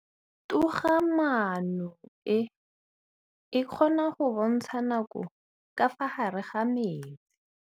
Toga-maanô e, e kgona go bontsha nakô ka fa gare ga metsi.